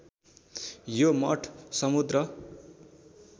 यो मठ समुद्र